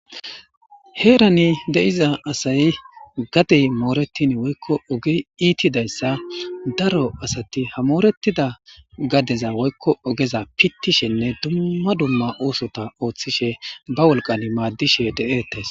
Heerani de7iza asay gadey mooretin woykko oge iitidayssa daro asati hamooretida gadeza woykko ogeza pittishenne dumma dumma oosota ooththishe ba wolqan maaddishe de7eettes.